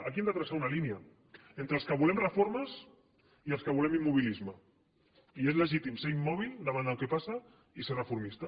aquí hem de traçar una línia entre els que volem reformes i els que volem immobilisme i és legítim ser immòbil davant el que passa i ser reformista